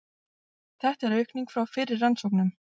Þetta er aukning frá fyrri rannsóknum